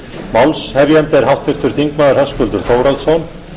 málshefjandi er háttvirtur þingmaður höskuldur þórhallsson